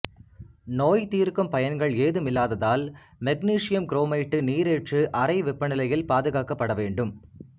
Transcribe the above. நோய் தீர்க்கும் பயன்கள் ஏதுமில்லாததால் மக்னீசியம் குரோமேட்டு நீரேற்று அறை வெப்பநிலையில் பாதுகாக்கப்பட வேண்டும்